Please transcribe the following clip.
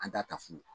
An t'a ta fu